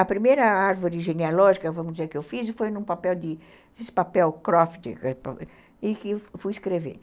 A primeira árvore genealógica, vamos dizer, que eu fiz foi num papel croft e que fui escrevendo.